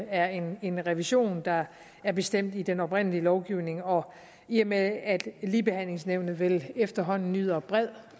er en en revision der er bestemt i den oprindelige lovgivning og i og med at ligebehandlingsnævnet vel efterhånden nyder bred